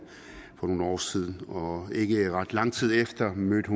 for nogle år siden og ikke ret lang tid efter mødte